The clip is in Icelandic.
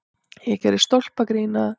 Ég gerði stólpagrín að